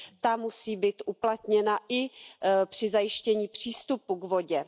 Ta musí být uplatněna i při zajištění přístupu k vodě.